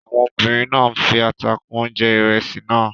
Àwọn obìnrin náà fi ata kún oúnjẹ ìrẹsì náà.